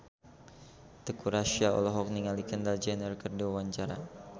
Teuku Rassya olohok ningali Kendall Jenner keur diwawancara